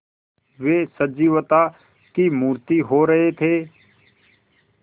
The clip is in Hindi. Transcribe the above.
वे सजीवता की मूर्ति हो रहे थे